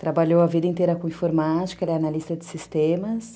Trabalhou a vida inteira com informática, ela é analista de sistemas.